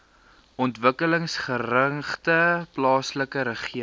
ontwikkelingsgerigte plaaslike regering